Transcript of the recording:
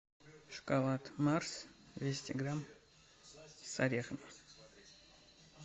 шоколад марс двести грамм с орехом